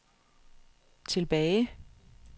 tilbage